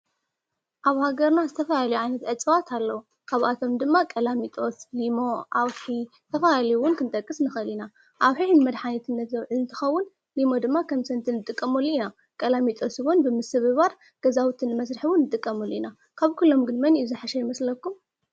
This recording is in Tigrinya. ኣብ ሃገርና ዝተፋላለዩ ዓይነት እፅዋት ኣለዉ፡፡ ካብኣቶም ድማ ቀላሚጦስ፣ ሊሞ፣ ኣውሒ ተፈላለዩ ውን ክንጠቅስ ንኸእል ኢና፡፡ ኣውሒ ንመድሓኒት ዝኸውን እንትኸውን ሊሞ ድማ ኸም ሰትን እንጥቀመሉ ኢና፡፡ ቀላሚጦስ ውን ብምስብባር ገዛውቲ ንምስርሕ ውን ንጥቀሙሉ ኢና፡፡ ካብ ኲሎም ግን መን እዩ ዘሐሸ ይመስለኩም?